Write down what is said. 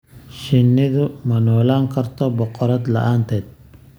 Shinnidu ma noolaan karto boqorad la'aanteed.